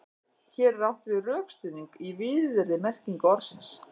Hér er átt við rökstuðning í víðri merkingu orðsins.